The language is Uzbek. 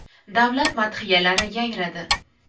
Davlat madhiyalari yangradi.